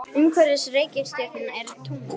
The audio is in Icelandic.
Umhverfis reikistjörnurnar eru tungl.